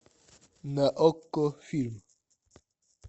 на окко фильм